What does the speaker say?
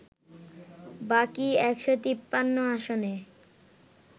বাকি ১৫৩ আসনে